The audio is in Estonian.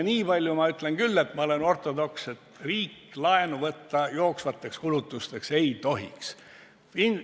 Niipalju ma olen küll ortodoks, et ma ütlen, et riik jooksvateks kulutusteks laenu võtta ei tohiks.